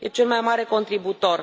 E cel mai mare contribuitor.